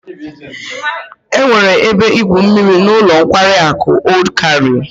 E nwere ebe igwu mmiri n'ulo nkwari aku Old Cairo